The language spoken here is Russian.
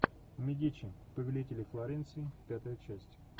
медичи повелители флоренции пятая часть